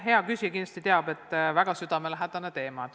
Hea küsija kindlasti teab, et see on mulle väga südamelähedane teema.